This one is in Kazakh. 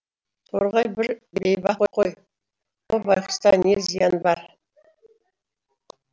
торғай бір бейбақ қой о байғүста не зиян бар